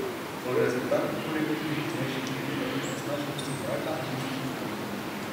O rezultatih morebitnih poznejših meritev onesnaženosti zraka niso seznanjeni.